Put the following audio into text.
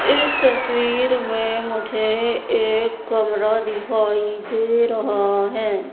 इस तस्वीर में मुझे कमरा दिखाई दे रहा है।